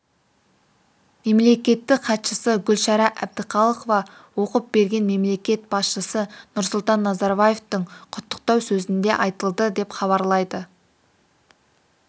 мемлекеттік хатшысы гүлшара әбдіқалықова оқып берген мемлекет басшысы нұрсұлтан назарбаевтың құттықтау сөзінде айтылды деп хабарлайды